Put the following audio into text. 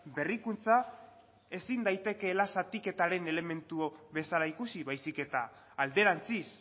berrikuntza ezin daitekeela zatiketaren elementu bezala ikusi baizik eta alderantziz